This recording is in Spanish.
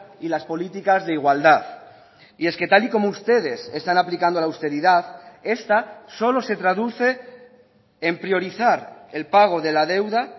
y las políticas de igualdad y es que tal y como ustedes están aplicando la austeridad esta solo se traduce en priorizar el pago de la deuda